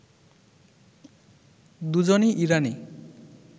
দুজনই ইরানি